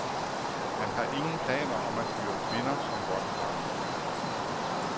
Han har ingen planer om at hyre kvinder som bodyguards.